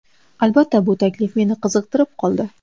Albatta, bu taklif meni qiziqtirib qoldi.